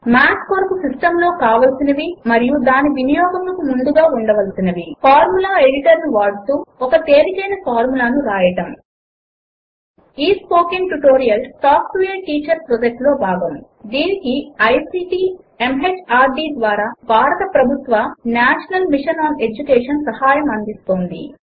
మాత్ కొరకు సిస్టమ్ లో కావలసినవి మరియు దాని వినియోగమునకు ముందుగా ఉండవలసినవి ఫార్ములా ఎడిటర్ ను వాడుతూ ఒక తేలికైన ఫార్ములాను వ్రాయడము ఈ spoken tutorial talk to a teacher project లో భాగము దీనికి ఐసీటీ ఎంహార్డీ ద్వారా భారత ప్రభుత్వ నేషనల్ మిషన్ ఆన్ ఎడ్యుకేషన్ సహాయం అందిస్తోంది